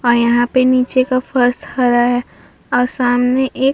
और यहाँ पे नीचे का फ़र्श हरा है और सामने एक --